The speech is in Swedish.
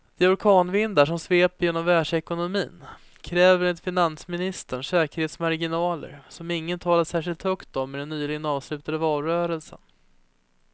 De orkanvindar som sveper genom världsekonomin kräver enligt finansministern säkerhetsmarginaler som ingen talade särskilt högt om i den nyligen avslutade valrörelsen.